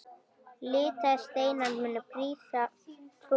Litaðir steinar munu prýða torgið.